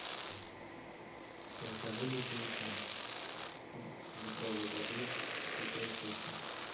закажи бутылку литровой воды святой источник